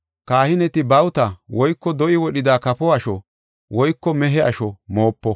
Kahineti bawuta woyko do7i wodhida kafo asho woyko mehe asho moopo.